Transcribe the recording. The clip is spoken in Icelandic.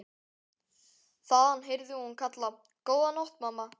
Þaðan heyrði hún hann kalla: Góða nótt mamma.